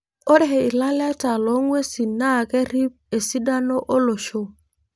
Ore ilaleta loong'uesin naa kerip esidano olosho.